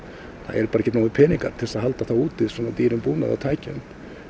eru bara ekki nógu peningar til að halda úti svona dýrum búnaði og tækjum